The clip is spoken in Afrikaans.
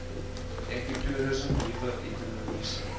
ekotoerisme nuwe ekonomiese